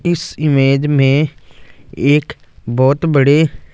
इस इमेज़ में एक बहोत बड़े--